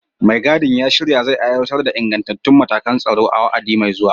Mai gadin ya shirya zai aiwatar da ingantattun matakan tsaro a wa'adi mai zuwa.